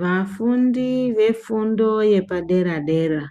Vafundi vefundo yepadera dera